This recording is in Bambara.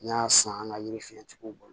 N y'a san an ka yiri fiyɛ cogo min na